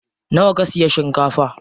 Nawa ka siya shinkafa?